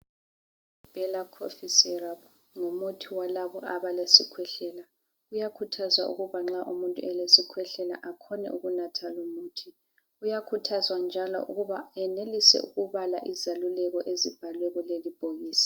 IBhela khofu seraphu ngumuthi walabo abalesikhwehlela. Kuyakhuthazwa ukuba nxa umuntu elesikhwehlela akhone ukunatha lumuthi. Kuyakhuthazwa njalo ukuba enelise ukubala izeluleko ezibhalwe kulelibhokisi.